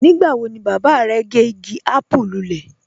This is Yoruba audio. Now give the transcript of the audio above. Nígbà wọ̀ ni baba rẹ̀ gẹ́ igi àpùú lúlẹ̀?